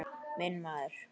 Minn maður.